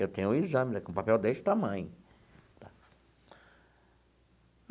Eu tenho o exame ainda com o papel deste tamanho.